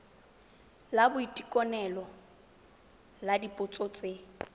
la boitekanelo la dipotso tse